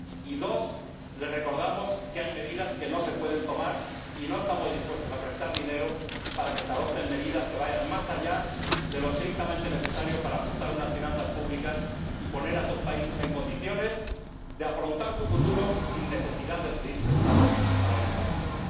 y dos, les recordamos que hay medidas que no se pueden tomar, y no estamos dispuestos a prestar dinero para que se adopten medidas que vayan más allá de lo estrictamente necesario para ajustar unas finanzas públicas y poner a esos países en condiciones de afrontar su futuro sin necesidad de pedir prestado a la Unión Europea.